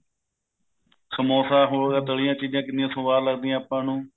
ਸਮੋਸਾ ਹੋਰ ਤਲੀਆਂ ਚੀਜਾਂ ਕਿੰਨੀਆ ਸਵਾਦ ਲੱਗਦੀਆਂ ਆਪਾਂ ਨੂੰ